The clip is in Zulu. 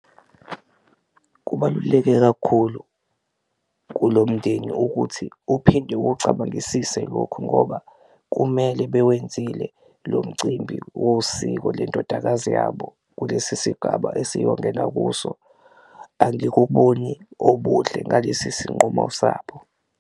Kubaluleke kakhulu kulo mndeni ukuthi uphinde uwucabangisise lokhu ngoba kumele bewenzile lo mcimbi wosiko lendodakazi yabo kulesi sigaba esiyongena kuso, angikuboni obuhle ngalesi sinqumo sabo.